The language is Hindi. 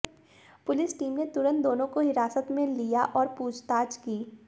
पुलिस टीम ने तुरंत दोनों को हिरासत में लिया और पूछताछ की